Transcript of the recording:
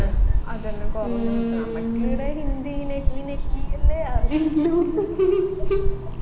അതെന്നെ കുറഞ്ഞുകിട്ടും നമ്മക്കിടെ ഹിന്ദി നഹി നഹി അല്ലെ അറിയുള്ളു